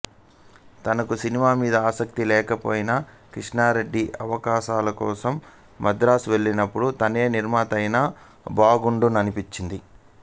తనకు సినిమా మీద ఆసక్తి లేకపోయినా కృష్ణారెడ్డి అవకాశాల కోసం మద్రాసు వెళ్ళినపుడు తనే నిర్మాత అయితే బాగుండుననిపించింది